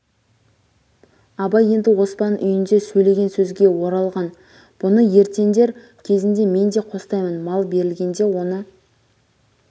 абай енді оспан үйінде сөйлеген сөзге оралған бұны ертендер кезінде мен де қостаймын мал берілгенде оны